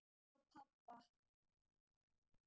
Hjá pabba